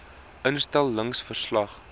instel lings verslag